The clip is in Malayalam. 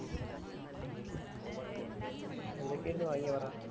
എന്തോക്കെയാ അവിടന്നു വാങ്ങിയേ പറ